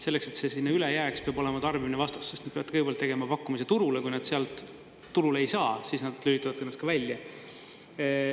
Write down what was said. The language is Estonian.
Selleks, et see sinna üle jääks, peab olema tarbimine vastas, sest nad peavad kõigepealt tegema pakkumise turule, kui nad sealt turule ei saa, siis nad lülitavad ennast ka välja.